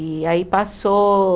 E aí passou